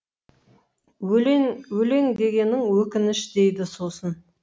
өлең дегенің өкініш дейді сосын